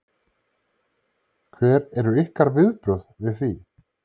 Hver eru ykkar viðbrögð við því?